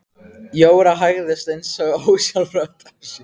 Jóra hægði eins og ósjálfrátt á sér.